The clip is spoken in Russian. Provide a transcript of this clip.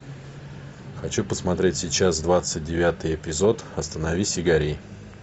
хочу посмотреть сейчас двадцать девятый эпизод остановись и гори